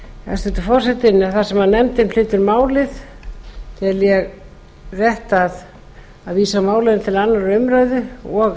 hæstvirtur forseti þar sem nefndin flytur málið tel ég rétt að vísa málinu til annarrar umræðu og